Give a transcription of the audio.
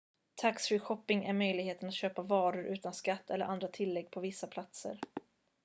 tax-free shopping är möjligheten att köpa varor utan skatt eller andra tillägg på vissa platser